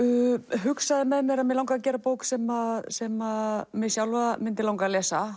hugsaði með mér að mig langaði að gera bók sem sem mig sjálfa myndi langa að lesa